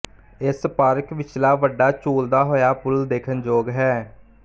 ਇਸ ਪਾਰਕ ਵਿਚਲਾ ਵੱਡਾ ਝੂਲਦਾ ਹੋਇਆ ਪੁਲ ਦੇਖਣਯੋਗ ਹੈ